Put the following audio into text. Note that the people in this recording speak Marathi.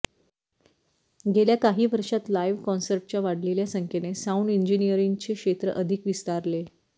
गेल्या काही वर्षांत लाइव्ह कॉन्सर्ट्सच्या वाढलेल्या संख्येने साऊन्ड इंजिनीअरिंगचे क्षेत्र अधिक विस्तारले